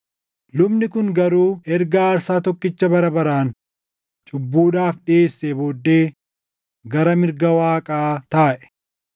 Lubni kun garuu erga aarsaa tokkicha bara baraan cubbuudhaaf dhiʼeessee booddee gara mirga Waaqaa taaʼe.